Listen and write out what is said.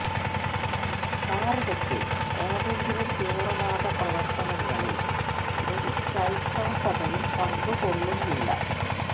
ഭാരതത്തില് ഏതെങ്കിലും തീവ്രവാദപ്രവര്ത്തനങ്ങളില് ഒരു ക്രൈസ്തവ സഭയും പങ്കു കൊള്ളുന്നില്ല